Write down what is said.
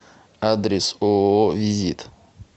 адрес ооо визит